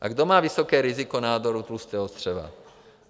A kdo má vysoké riziko nádoru tlustého střeva?